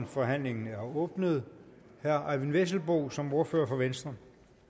forhandlingen er åbnet herre eyvind vesselbo som ordfører for venstre